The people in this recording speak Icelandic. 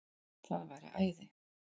Það væri æði